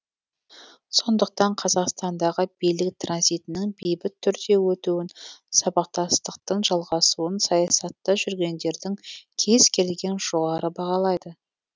сондықтан қазақстандағы билік транзитінің бейбіт түрде өтуін сабақтастықтың жалғасуын саясатта жүргендердің кез келгені жоғары бағалайды